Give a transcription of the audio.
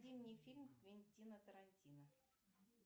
фильм квентина тарантино